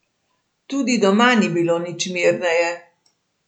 Tudi doma ni bilo nič mirneje.